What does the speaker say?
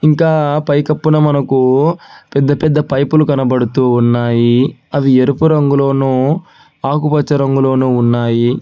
ఇంకా పైకప్పున మనకు పెద్ద పెద్ద పైపులు కనబడుతూ ఉన్నాయి అవి ఎరుపు రంగులోను ఆకుపచ్చ రంగులోను ఉన్నాయి.